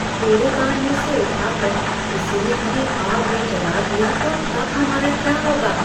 कूड़ेदान में से उठाकर किसी ने हमें आग में जला दिया तो तब हमारा क्या होगा?